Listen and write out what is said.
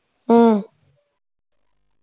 ਹਮ